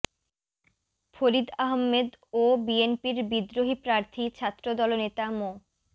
ফরিদ আহম্মেদ ও বিএনপির বিদ্রোহী প্রার্থী ছাত্রদল নেতা মো